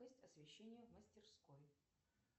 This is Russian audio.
освещения в мастерской